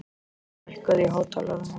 Páll, lækkaðu í hátalaranum.